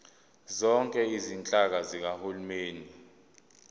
zonke izinhlaka zikahulumeni